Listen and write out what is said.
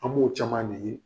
An b'o caman de ye.